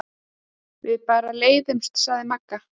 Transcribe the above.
Við bara leiðumst, sagði Magga.